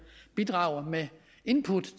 bidrage med input